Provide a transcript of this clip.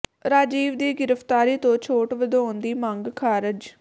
ਰਾਜੀਵ ਦੀ ਗ੍ਰਿਫ਼ਤਾਰੀ ਤੋਂ ਛੋਟ ਵਧਾਉਣ ਦੀ ਮੰਗ ਖ਼ਾਰਜ